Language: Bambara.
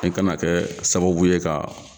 I kana kɛ sababu ye ka